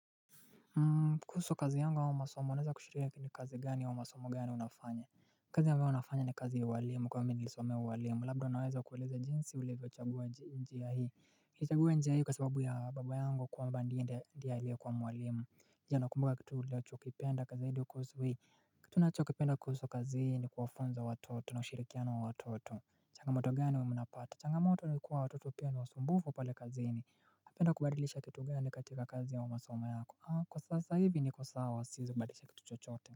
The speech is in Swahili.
Kuhusu kazi yangu au masomo unaeza kuashiria ni kazi gani au masomo gani unafanya kazi ambayo nafanya ni kazi ya uwalimu kwa mimi nilisomea uwalimu labda naweza kueleza jinsi ulivyo chagua njia hii nilichagua njia hii kwa sababu ya baba yangu kwamba ndiye ndiye alikuwa mwalimu je ukumbuka kitu unachokipenda kipenda zaidi kusuhu hii kitu nacho kipenda kuhusu kazi hii ni kuwafunza watoto na ushirikiano wa watoto changamoto gani huwa mnapata changamoto nikuwa watoto pia niwasumbufu pale kazini ungependa kubadilisha kitu gani katika kazi au masoma yako haa kwa sasa hivi niko sawa siwezikubadilisha kitu chochote.